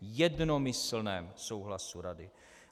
Jednomyslném souhlasu Rady.